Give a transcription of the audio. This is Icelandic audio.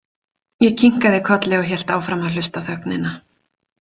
Ég kinkaði kolli og hélt áfram að hlusta á þögnina.